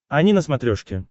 ани на смотрешке